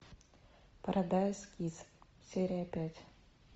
парадайз кисс серия пять